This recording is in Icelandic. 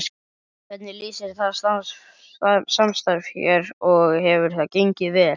Hvernig lýsir það samstarf sér og hefur það gengið vel?